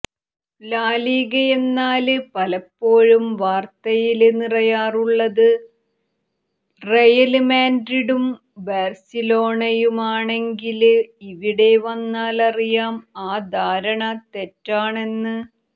ലാലീഗയെന്നാല് പലപ്പോഴും വാര്ത്തയില് നിറയാറുള്ളത് റയല് മാഡ്രിഡും ബാര്സിലോണയുമാണെങ്കില് ഇവിടെ വന്നാലറിയാം ആ ധാരണ തെറ്റാണെന്ന്